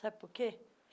Sabe por quê?